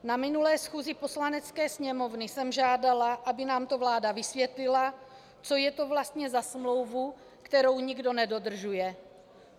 Na minulé schůzi Poslanecké sněmovny jsem žádala, aby nám to vláda vysvětlila, co je to vlastně za smlouvu, kterou nikdo nedodržuje.